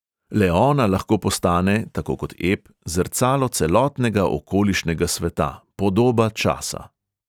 Le ona lahko postane, tako kot ep, zrcalo celotnega okolišnega sveta, podoba časa.